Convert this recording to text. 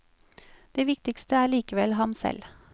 Det viktigste er likevel ham selv.